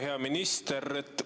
Hea minister!